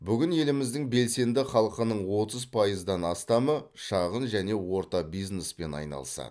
бүгін еліміздің белсенді халқының отыз пайыздан астамы шағын және орта бизнеспен айналысады